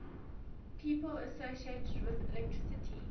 people associated with electricity